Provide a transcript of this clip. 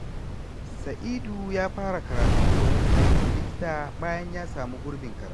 Saidu ya fara karatun koyon aikin likita bayan ya samu gurbin karatu.